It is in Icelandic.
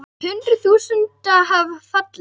Hundruð þúsunda hafa fallið.